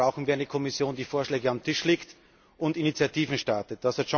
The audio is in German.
Deswegen brauchen wir eine Kommission, die Vorschläge auf den Tisch legt und Initiativen startet.